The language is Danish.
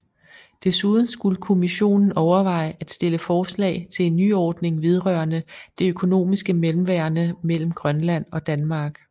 Desuden skulle Kommissionen overveje og stille forslag til en nyordning vedrørende det økonomiske mellemværende mellem Grønland og Danmark